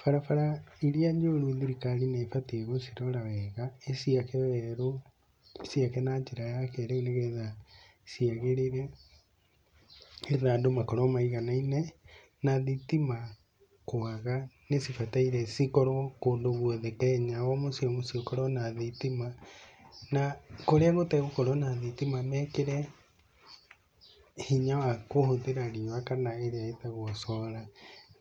Barabara iria njoru thirikarĩ nĩ ibatiĩ gũcirora wega, ĩciake werũ, ĩciake na njĩra ya kĩrĩu nĩ getha ciagĩrĩre, nĩ getha andũ makorwo maiganaine, na thitima kwaga, nĩ cibataire cikorwo kũndũ guothe Kenya, o mũciĩ o mũciĩ ũkorwo na thitima, na kũrĩa gũtagũkorwo na thitima mekire hinya wa kũhũthĩra riũa kana ĩrĩa ĩtagwo solar